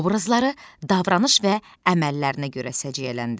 Obrazları davranış və əməllərinə görə səciyyələndir.